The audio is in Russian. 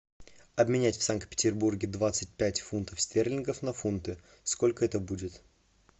обменять в санкт петербурге двадцать пять фунтов стерлингов на фунты сколько это будет